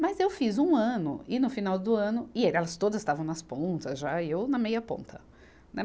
Mas eu fiz um ano, e no final do ano, e aí elas todas estavam nas pontas já, e eu na meia ponta. na